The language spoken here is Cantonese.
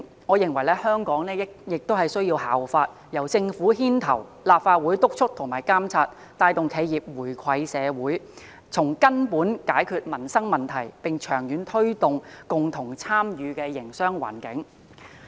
我認為香港亦應當效法內地，由政府牽頭，立法會督促和監察，帶動企業回饋社會，從根本解決民生問題，並長遠推動共同參與的營商環境。